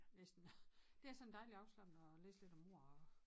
Næsten det er sådan dejligt afslappende at læse lidt om mord